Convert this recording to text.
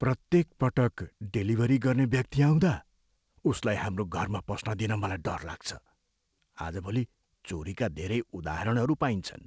प्रत्येक पटक डेलिभरी गर्ने व्यक्ति आउँदा, उसलाई हाम्रो घरमा पस्न दिन मलाई डर लाग्छ। आजभोली चोरीका धेरै उदाहरणहरू पाइन्छन्।